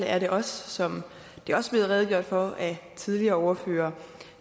er det også som det også er blevet redegjort for af tidligere ordførere